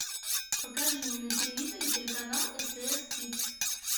покажи мне на телевизоре телеканал стс кидс